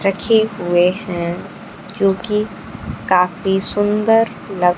रखे हुए है जोकि काफी सुंदर लग--